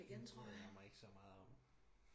hende bryder jeg mig ikke så meget om